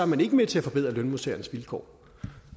man ikke med til at forbedre lønmodtagernes vilkår